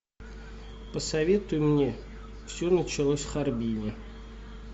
посоветуй мне все началось в харбине